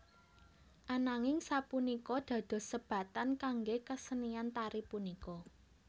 Ananging sapunika dados sebatan kangge kesenian tari punika